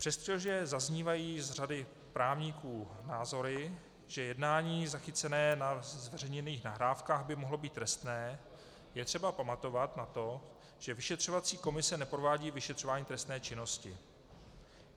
Přestože zaznívají od řady právníků názory, že jednání zachycené na zveřejněných nahrávkách by mohlo být trestné, je třeba pamatovat na to, že vyšetřovací komise neprovádí vyšetřování trestné činnosti.